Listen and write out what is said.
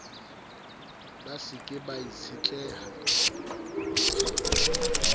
ba se ke ba itshetleha